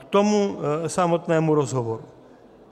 K tomu samotnému rozhovoru.